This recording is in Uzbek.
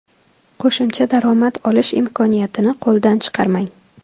Qo‘shimcha daromad olish imkoniyatini qo‘ldan chiqarmang.